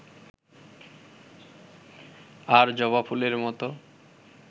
আর জবাফুলের মত